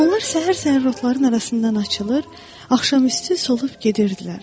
Onlar səhər-səhər rotlarının arasından açılır, axşam üstü solub gedirdilər.